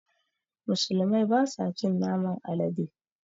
Musulmai basa cin naman alade